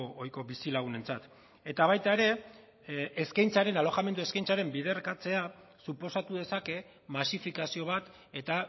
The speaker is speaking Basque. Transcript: ohiko bizilagunentzat eta baita ere eskaintzaren alojamendu eskaintzaren biderkatzea suposatu dezake masifikazio bat eta